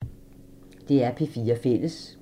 DR P4 Fælles